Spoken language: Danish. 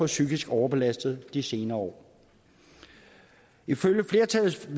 psykisk overbelastede de senere år ifølge flertallets